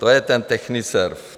To je ten Techniserv.